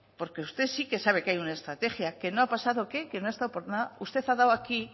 porque usted sí que sabe que hay una estrategia que no ha pasado qué que no ha estado por nada usted ha dado aquí